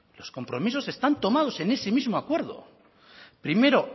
los compromisos están tomados en ese mismo acuerdo primero